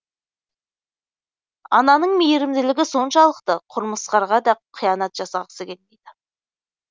ананың мейірімділігі соншалықты құрмырсқаға да қиянат жасағысы келмейді